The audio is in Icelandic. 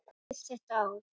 Lítið var barist þetta ár.